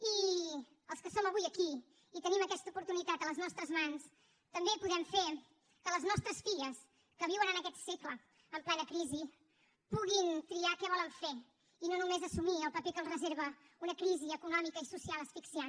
i els que som avui aquí i tenim aquesta oportunitat a les nostres mans també podem fer que les nostres filles que viuen en aquest segle en plena crisi puguin triar què volen fer i no només assumir el paper que els reserva una crisi econòmica i social asfixiant